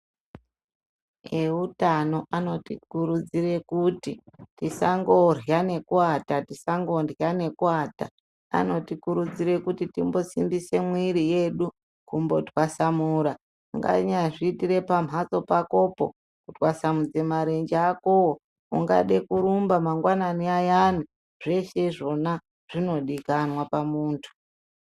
Eutano anotikurudzire kuti tisangorya nekuata, tisangorya nekuata anotikurdzire kuti timbosimbise mwiri yedu kumbotwasamura, unganyazviitire pamhatso pakopo kutwasmudze marenje akowo, ungade kurumba mangwanani ayana zveshe izvona zvinodikanwa pamuntu.